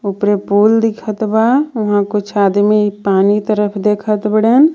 उपरे पुल दिखत बा ऊंहा कुछ आदमी पानी तरफ देखत बडे़न.